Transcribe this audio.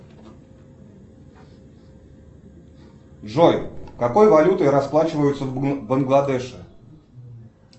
джой какой валютой расплачиваются в бангладеше